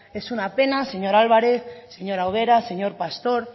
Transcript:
es una pena señor álvarez señora ubera señor pastor